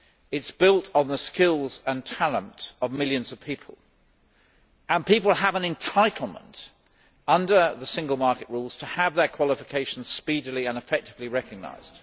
It is built on the skills and talent of millions of people, and people have an entitlement under the single market rules to have their qualifications speedily and effectively recognised.